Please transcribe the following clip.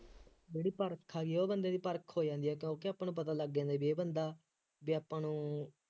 ਜਿਹੜੀ ਪਰਖ ਆਈ ਹੈ ਉਹ ਬੰਦੇ ਦੀ ਪਰਖ ਹੋ ਜਾਂਦੀ ਹੈ, ਕਿਉਂਕਿ ਆਪਾਂ ਨੂੰ ਪਤਾ ਲੱਗ ਜਾਂਦਾ ਬਈ ਇਹ ਬੰਦਾ ਬਈ ਆਪਾਂ ਨੂੰ